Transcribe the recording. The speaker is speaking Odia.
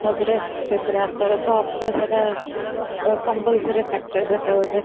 ତା ପରେ ଆଚାର ତା compulsory factor ସେଟା ଗୋଟେ